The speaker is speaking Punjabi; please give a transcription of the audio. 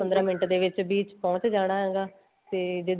ਪੰਦਰਾਂ ਮਿੰਟ ਦੇ ਵਿੱਚ ਪਹੁੰਚ ਜਾਣਾ ਹੈਗਾ ਤੇ ਜੇ